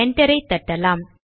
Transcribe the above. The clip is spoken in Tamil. என்டரை தட்டலாம்